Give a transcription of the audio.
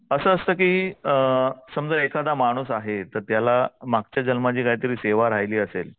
असं असतं की अ समजा एखादा माणूस आहे तर त्याला मागच्या जन्माची काहीतरी सेवा राहिली असेल